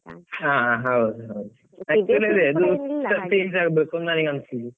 ಹ ಹ ಹೌದು ಹೌದು ಆಗ್ಬೇಕು ನಾನೀಗ್ ಅನ್ಸುದ್.